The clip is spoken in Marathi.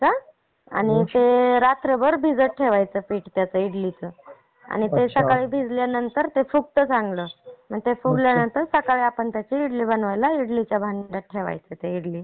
आणि ते रात्रभर भिजत ठेवायची पेस्ट ती इडलीचं, आणि मग ते भिजल्यानंतर ते फुगत चांगला. ते फुगल्या नंतर सकाळी आपण इडली बनवायला इडलीच्या भांड्यात ठेवायचा ते